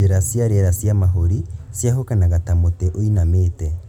Njĩra cia rĩera cia mahũri cĩahũkanaga ta mũtĩ ũinamanĩte